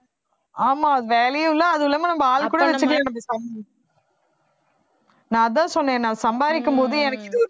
ஆமா வேலையும் இல்ல அதுவும் இல்லாம நம்ம ஆள் கூட நான் அதான் சொன்னேன் நான் சம்பாரிக்கும்போது எனக்கு இது ஒரு